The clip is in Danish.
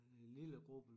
Lillegruppen